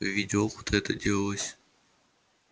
в виде опыта это делалось